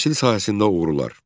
Təhsil sahəsində uğurlar.